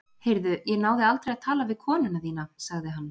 Heyrðu, ég náði aldrei að tala við konuna þína- sagði hann.